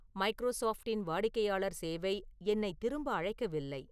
மைக்ரோசாப்டின் வாடிக்கையாளர் சேவை என்னை திரும்ப அழைக்கவில்லை